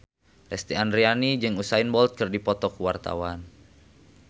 Lesti Andryani jeung Usain Bolt keur dipoto ku wartawan